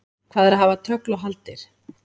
Hvað er að hafa tögl og hagldir?